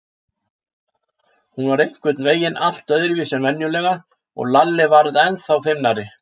Hún var einhvern veginn allt öðruvísi en venjulega og Lalli varð ennþá feimnari.